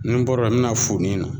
Ni n bɔra yen n be na funin na